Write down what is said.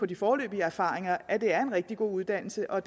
de foreløbige erfaringer at det er en rigtig god uddannelse og